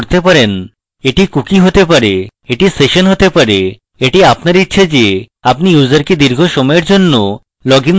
এটি cookie হতে পারে এটি session হতে পারে এটি আপনার ইচ্ছা যে আপনি ইউসারকে দীর্ঘ সময়ের জন্য লগইন রাখতে চান কিনা